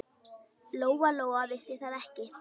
Lóa-Lóa vissi það ekki.